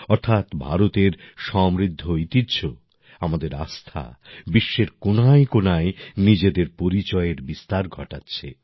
অর্থাৎ ভারতের সমৃদ্ধ ঐতিহ্য আমাদের আস্থা বিশ্বের কোণায়কোণায় নিজের পরিচয়ের বিস্তার ঘটাচ্ছে